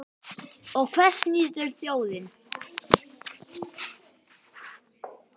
Og hvers nýtur þjóðin?